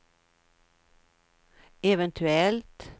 eventuellt